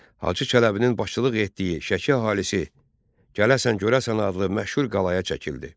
Hacı Çələbinin başçılıq etdiyi Şəki əhalisi gələsən görəsən adlı məşhur qalaya çəkildi.